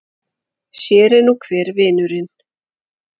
Sér er nú hver vinurinn!